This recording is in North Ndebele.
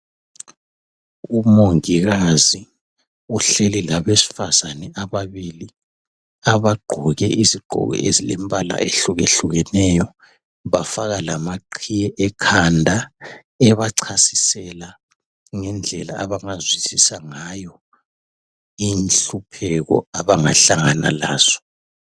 Umongikazi uhleli labesifazane ababili abagqoke izigqoko ezilembala ehlukehlukeneyo bafaka lamaqhiye ekhanda ebachasisela ngendlela abangazwisisa ngayo inhlupheko abangahlangana lazo.